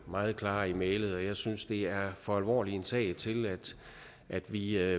meget klare i mælet og jeg synes at det er for alvorlig en sag til at vi